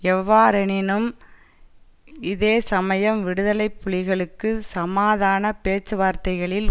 எவ்வாறெனினும் இதே சமயம் விடுதலை புலிகளுக்கு சமாதான பேச்சுவார்த்தைகளில்